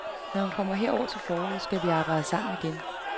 Når han kommer herover til foråret, skal vi arbejde sammen igen.